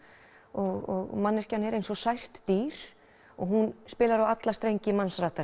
og manneskjan er eins og sært dýr og hún spilar á alla strengi